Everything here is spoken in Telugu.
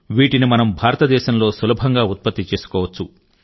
వీటిని మనం భారతదేశంలో సులభంగా ఉత్పత్తి చేసుకోవచ్చు